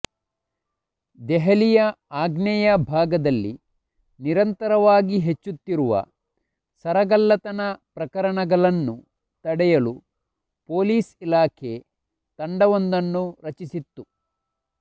ದೆಹಲಿಯ ಆಗ್ನೇಯ ಭಾಗದಲ್ಲಿ ನಿರಂತರವಾಗಿ ಹೆಚ್ಚುತ್ತಿರುವ ಸರಗಳ್ಳತನ ಪ್ರಕರಣಗಳನ್ನು ತಡೆಯಲು ಪೊಲೀಸ್ ಇಲಾಖೆ ತಂಡವೊಂದನ್ನು ರಚಿಸಿತ್ತು